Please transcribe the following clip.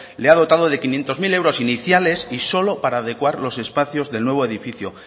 le ha dotado de quinientos mil euros iniciales y solo para adecuar los espacios del nuevo edificio